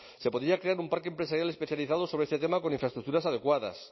se podría crear un parque empresarial especializado sobre este tema con infraestructuras adecuadas